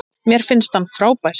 Mér finnst hann frábær.